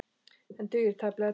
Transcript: En dugir tæplega til.